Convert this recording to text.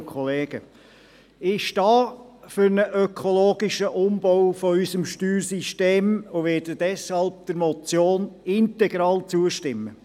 Ich stehe für einen ökologischen Umbau unseres Steuersystems ein und werde deshalb der Motion integral zustimmen.